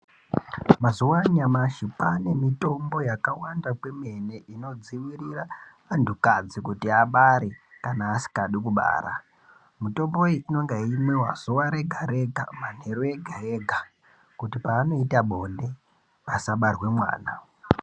Mazuwa anyamashi kwaane mitombo yakawanda kwemene inodziirira anhu kadzi kuti asabara kana asingadi kubara. Mitombo iyi inenge yeimwiwa zuwa rega ,rega, manheru ega, ega kuti paanoita bonde pasabarwe mwana.